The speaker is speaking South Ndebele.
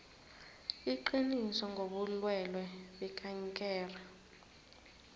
iqiniso ngobulwelwe bekankere